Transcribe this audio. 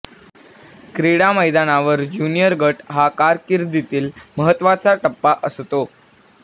क्रीडा मैदानावर ज्युनिअर गट हा कारकिर्दीतील महत्त्वाचा टप्पा असतो